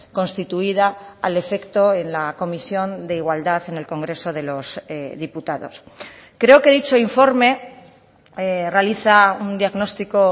constituida al efecto en la comisión de igualdad en el congreso de los diputados creo que he dicho informe realiza un diagnóstico